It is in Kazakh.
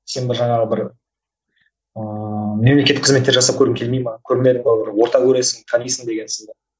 сен бір жаңағы бір ыыы мемлекеттік қызметтер жасап көргің келмей ме көрмедің бе бір орта көресің танисың деген сынды